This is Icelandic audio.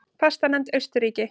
Fastanefnd Austurríki